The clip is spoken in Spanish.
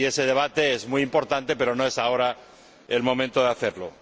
ese debate es muy importante pero no es ahora el momento de hacerlo.